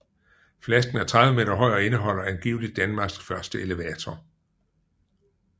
Flasken er 30 meter høj og indeholder angiveligt Danmarks første elevator